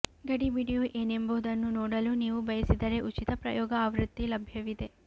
ಗಡಿಬಿಡಿಯು ಏನೆಂಬುದನ್ನು ನೋಡಲು ನೀವು ಬಯಸಿದರೆ ಉಚಿತ ಪ್ರಯೋಗ ಆವೃತ್ತಿ ಲಭ್ಯವಿದೆ